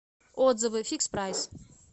отзывы фикспрайс